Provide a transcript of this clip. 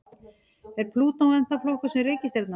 Er Plútó ennþá flokkuð sem reikistjarna?